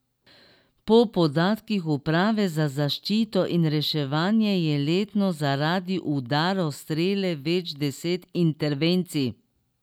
Po podatkih uprave za zaščito in reševanje je letno zaradi udarov strele več deset intervencij.